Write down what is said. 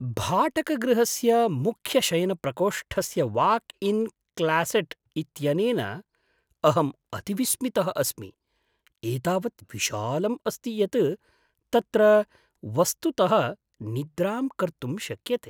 भाटकगृहस्य मुख्यशयनप्रकोष्ठस्य walk in closet इत्यनेन अहम् अतिविस्मितः अस्मि, एतावत् विशालम् अस्ति यत् तत्र वस्तुतः निद्रां कर्तुं शक्यते।